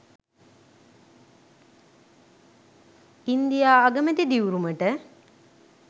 India අගමැති දිවුරුමට